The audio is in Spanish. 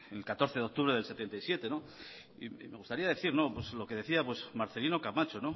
en el catorce de octubre de mil novecientos setenta y siete y me gustaría decir lo que decía marcelino camacho